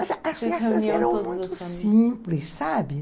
As festas eram muito simples, sabe?